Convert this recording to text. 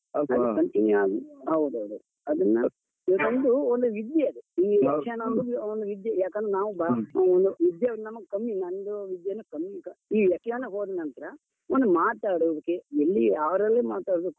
continue ಆಗಿ ಹೌದೌದು ಅದನ್ನ ಅದು ಒಂದು ಒಂದು ವಿದ್ಯೆ ಅದು. ಈ ಯಕ್ಷಗಾನ ಒಂದು ಒಂದು ವಿದ್ಯೆ ಯಾಕಂದ್ರೆ ನಾವು ವಿದ್ಯೆ ಒಂದು ನಮ್ಗೆ ಕಮ್ಮಿ, ನಂದು ವಿದ್ಯೆನೂ ಕಮ್ಮಿ. ಈ ವ್ಯಾಖ್ಯಾನಕ್ ಹೋದ್ ನಂತ್ರ, ಒಂದು ಮಾತಾಡೋಕ್ಕೆ, ಎಲ್ಲಿ ಯಾರಲ್ಲಿ ಮಾತಾಡ್ಬೇಕು,